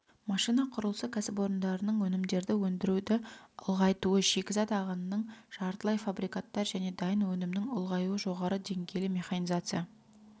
машина құрылысы кәсіпорындарының өнімдерді өндіруді ұлғайтуы шикізат ағынының жартылай фабрикаттар және дайын өнімнің ұлғаюы жоғары деңгейлі механизация